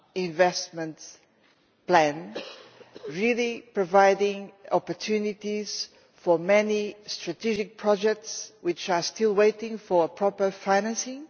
investment plan really providing opportunities for many strategic projects which are still waiting for proper financing.